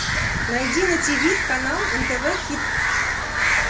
найди на тиви канал нтв хит